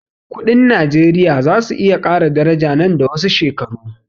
Kudin najeriya zasu iya ƙara daraja nan da wasu shekaru